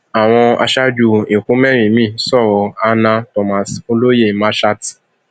àwọn aṣáájú ẹkọ mẹrin miín sọrọ hannah thomas olóyè masha t